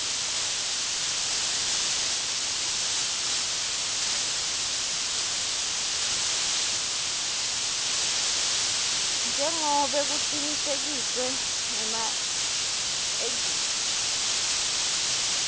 njengobe kucinisekiswe ngemaejensi